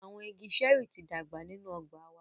Awọn ìgi ṣẹẹri ti dàgbà ninu ọgba wà